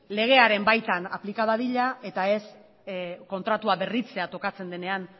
legearen baitan aplika dadila eta ez kontratua berritzea tokatzen denean